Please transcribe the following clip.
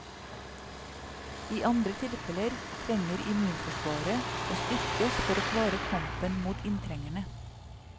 I andre tilfeller trenger immunforsvaret å styrkes for å klare kampen mot inntrengerne.